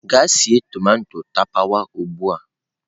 Gaa sie tomato tapawa ugbu a!.